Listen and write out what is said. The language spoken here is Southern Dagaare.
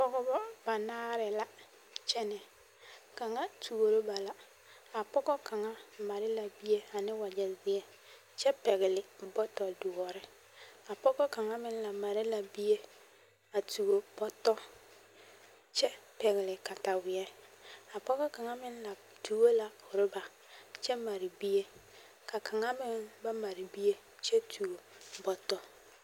Pɔgbɔ banaare la kyɛnɛ kaŋ tuoro ba la a pɔgɔ kaŋa mare la bie ane wagyɛ zeɛ kyɛ pɛgli bɔtɔ doɔre a pɔgɔ kaŋ meŋ la mare la bie a tuo bɔtɔ kyɛ pɛgli kataweɛ a pɔgɔ kaŋ meŋ la tuo la oruba kyɛ mare bie ka kaŋa meŋ ba mare bie kyɛ tuo bɔtɔ.